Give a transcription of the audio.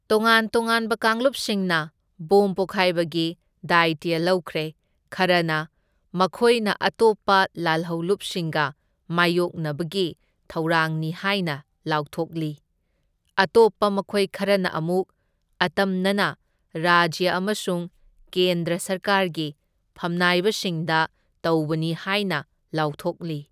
ꯇꯣꯉꯥꯟ ꯇꯣꯉꯥꯟꯕ ꯀꯥꯡꯂꯨꯄꯁꯤꯡꯅ ꯕꯣꯝ ꯄꯣꯈꯥꯏꯕꯒꯤ ꯗꯥꯏꯇ꯭ꯌ ꯂꯧꯈ꯭ꯔꯦ, ꯈꯔꯅ ꯃꯈꯣꯏꯅ ꯑꯇꯣꯞꯄ ꯂꯥꯜꯍꯧꯂꯨꯞꯁꯤꯡꯒ ꯃꯥꯢꯌꯣꯛꯅꯕꯒꯤ ꯊꯧꯔꯥꯡꯅꯤ ꯍꯥꯏꯅ ꯂꯥꯎꯊꯣꯛꯂꯤ, ꯑꯇꯣꯞꯄ ꯃꯈꯣꯏ ꯈꯔꯅ ꯑꯃꯨꯛ ꯑꯇꯝꯅꯅ ꯔꯥꯖ꯭ꯌ ꯑꯃꯁꯨꯡ ꯀꯦꯟꯗ꯭ꯔ ꯁꯔꯀꯥꯔꯒꯤ ꯐꯝꯅꯥꯏꯕꯁꯤꯡꯗ ꯇꯧꯕꯅꯤ ꯍꯥꯏꯅ ꯂꯥꯎꯊꯣꯛꯂꯤ꯫